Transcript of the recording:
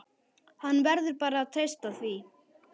Hann verður bara að treysta því.